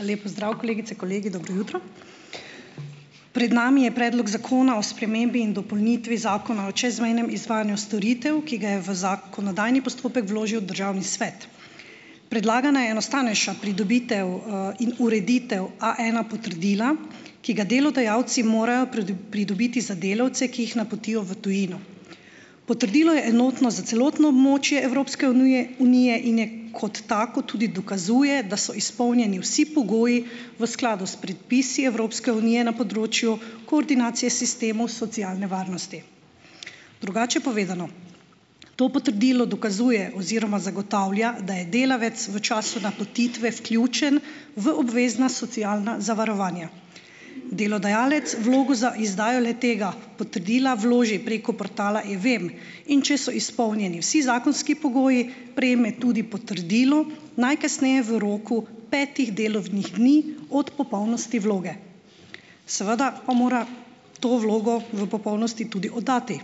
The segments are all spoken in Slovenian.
Lep pozdrav, kolegice, kolegi! Dobro jutro! Pred nami je Predlog zakona o spremembi in dopolnitvi Zakona o čezmejnem izvajanju storitev, ki ga je v zakonodajni postopek vložil Državni svet. Predlagana je enostavnejša pridobitev, in ureditev A ena potrdila, ki ga delodajalci morajo pridobiti za delavce, ki jih napotijo v tujino. Potrdilo je enotno za celotno območje Evropske unije in je kot tako tudi dokazuje, da so izpolnjeni vsi pogoji v skladu s predpisi Evropske unije na področju koordinacije sistemov socialne varnosti. Drugače povedano. To potrdilo dokazuje oziroma zagotavlja, da je delavec v času napotitve vključen v obvezna socialna zavarovanja. Delodajalec vlogo za izdajo le-tega potrdila vloži preko portala E-VEM, in če so izpolnjeni vsi zakonski pogoji, prejme tudi potrdilo najkasneje v roku petih delovnih dni od popolnosti vloge. Seveda pa mora to vlogo v popolnosti tudi oddati.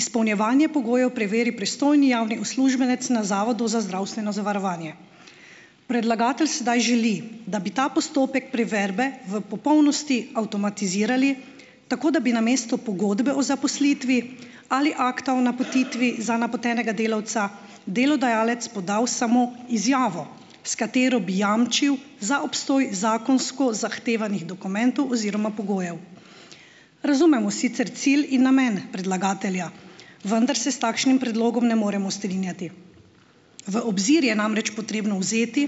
Izpolnjevanje pogojev preveri pristojni javni uslužbenec na Zavodu za zdravstveno zavarovanje. Predlagatelj sedaj želi, da bi ta postopek preverbe v popolnosti avtomatizirali, tako da bi namesto pogodbe o zaposlitvi ali akta o napotitvi za napotenega delavca delodajalec podal samo izjavo, s katero bi jamčil za obstoj zakonsko zahtevanih dokumentov oziroma pogojev. Razumemo sicer cilj in namen predlagatelja, vendar se s takšnim predlogom ne moremo strinjati. V obzir je namreč potrebno vzeti,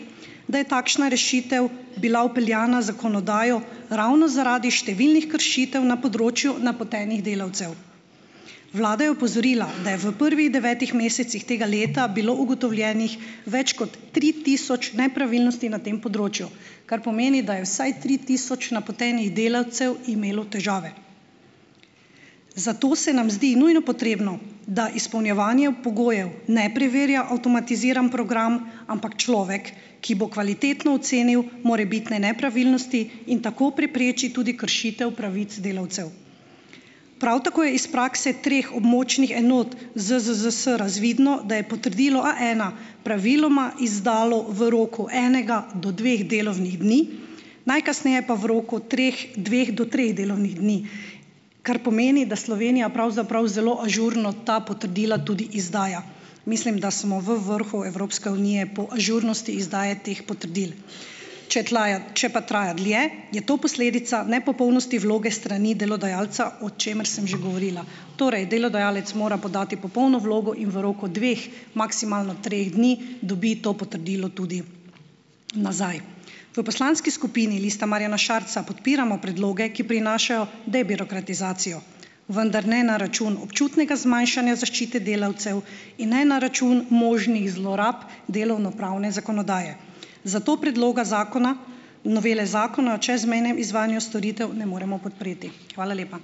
da je takšna rešitev bila vpeljana z zakonodajo ravno zaradi številnih kršitev na področju napotenih delavcev. Vlada je opozorila, da je v prvih devetih mesecih tega leta bilo ugotovljenih več kot tri tisoč nepravilnosti na tem področju, kar pomeni, da je vsaj tri tisoč napotenih delavcev imelo težave. Zato se nam zdi nujno potrebno, da izpolnjevanje pogojev ne preverja avtomatiziran program, ampak človek, ki bo kvalitetno ocenil morebitne nepravilnosti in tako preprečil tudi kršitev pravic delavcev. Prav tako je iz prakse treh območnih enot ZZZS razvidno, da je potrdilo A ena praviloma izdalo v roku enega do dveh delovnih dni, najkasneje pa v roku treh, dveh do treh delovnih dni, kar pomeni, da Slovenija pravzaprav zelo ažurno ta potrdila tudi izdaja, mislim, da smo v vrhu Evropske unije po ažurnosti izdaje teh potrdil. Če tlaja če pa traja dlje, je to posledica nepopolnosti vloge s strani delodajalca, o čemer sem že govorila. Torej, delodajalec mora podati popolno vlogo in v roku dveh, maksimalno treh dni dobi to potrdilo tudi nazaj. V poslanski skupini Liste Marjana Šarca podpiramo predloge, ki prinašajo debirokratizacijo, vendar ne na račun občutnega zmanjšanja zaščite delavcev in ne na račun možnih zlorab delovnopravne zakonodaje. Zato predloga zakona novele zakona o čezmejnem izvajanju storitev ne moremo podpreti. Hvala lepa.